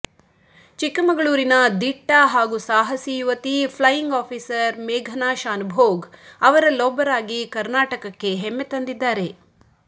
ಚಿಕ್ಕಮಗಳೂರಿನ ದಿಟ್ಟ ಹಾಗೂ ಸಾಹಸಿ ಯುವತಿ ಫ್ಲೈಯಿಂಗ್ ಆಫೀಸರ್ ಮೇಘನಾ ಶಾನುಭೋಗ್ ಅವರಲ್ಲೊಬ್ಬರಾಗಿ ಕರ್ನಾಟಕಕ್ಕೆ ಹೆಮ್ಮೆ ತಂದಿದ್ದಾರೆ